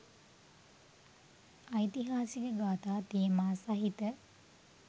ඓතිහාසික කථා තේමා සහිත